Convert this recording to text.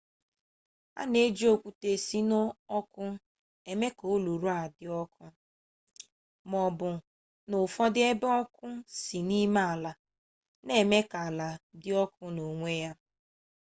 a na-eji okwute si n'ọkụ eme ka olulu a dị ọkụ maọbụ n'ụfọdụ ebe ọkụ si n'ime ala n'eme ka ala dị ọkụ n'onwe ya